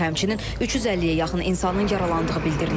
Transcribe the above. Həmçinin 350-yə yaxın insanın yaralandığı bildirilir.